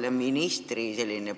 Kas ministri